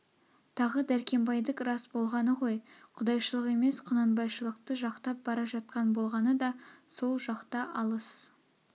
тағы дәркембайдік рас болғаны ғой құдайшылық емес құнанбайшылықты жақтап бара жатқан болғаны да сол жақта алыс